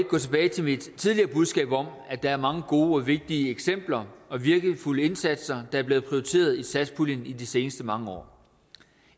gå tilbage til mit tidligere budskab om at der er mange gode vigtige eksempler og virkningsfulde indsatser der er blevet prioriteret i satspuljen i de sidste mange år